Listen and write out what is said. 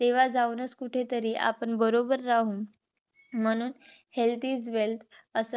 तेव्हा जाऊनच कुठेतरी आपण बरोबर राहु. म्हणून health is wealth अस